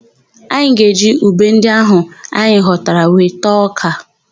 Anyị ga-eji ube ndị áhụ̀ anyị ghọtara wee taa ọ́kà.